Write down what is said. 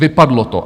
Vypadlo to.